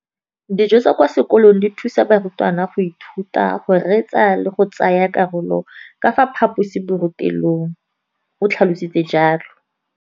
Dijo tsa kwa sekolong dithusa barutwana go ithuta, go reetsa le go tsaya karolo ka fa phaposiborutelong, o tlhalositse jalo.